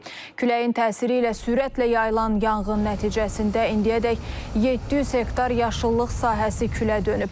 Küləyin təsiri ilə sürətlə yayılan yanğın nəticəsində indiyədək 700 hektar yaşıllıq sahəsi külə dönüb.